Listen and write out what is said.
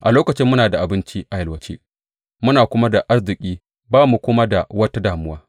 A lokacin muna da abinci a yalwace muna kuma da arziki ba mu kuma da wata damuwa.